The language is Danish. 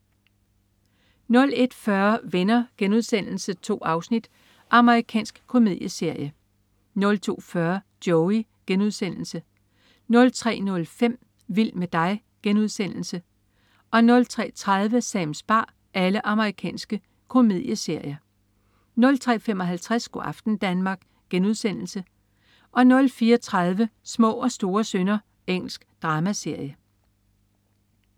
01.40 Venner.* 2 afsnit. Amerikansk komedieserie 02.40 Joey.* Amerikansk komedieserie 03.05 Vild med dig.* Amerikansk komedieserie 03.30 Sams bar. Amerikansk komedieserie 03.55 Go' aften Danmark* 04.30 Små og store synder. Engelsk dramaserie